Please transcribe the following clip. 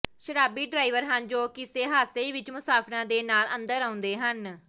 ਸ਼ਰਾਬੀ ਡ੍ਰਾਈਵਰ ਹਨ ਜੋ ਕਿਸੇ ਹਾਦਸੇ ਵਿਚ ਮੁਸਾਫਿਰਾਂ ਦੇ ਨਾਲ ਅੰਦਰ ਆਉਂਦੇ ਹਨ